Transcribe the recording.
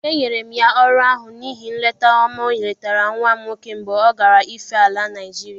E nyere m ya ọrụ ahụ n’ihi nleta ọma oletara nwa m nwoke mgbe ọ gara ife ala Naịjirịa.